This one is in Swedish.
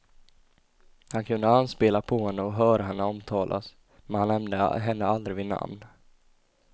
Han kunde anspela på henne och höra henne omtalas, men han nämnde henne aldrig vid namn.